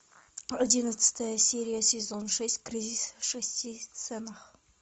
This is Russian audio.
одиннадцатая серия сезон шесть кризис в шести ценах